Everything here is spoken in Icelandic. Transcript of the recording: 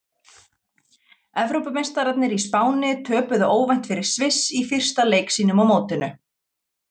Evrópumeistararnir í Spáni töpuðu óvænt fyrir Sviss í fyrsta leik sínum á mótinu.